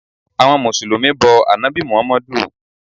Àwọn mùsùlùmí bọ ànábì muhammadu